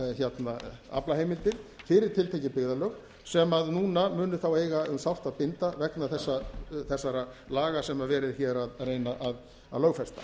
umtalsverðar aflaheimildir fyrir tiltekin byggðarlög sem núna munu þá eiga um sárt að binda vegna þessara laga sem verið er hér að reyna að lögfesta